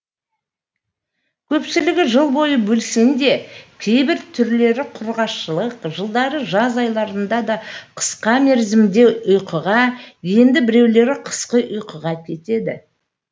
көпшілігі жыл бойы белсенді кейбір түрлері құрғақшылық жылдары жаз айларында да қысқа мерзімді ұйқыға енді біреулері қысқы ұйқыға кетеді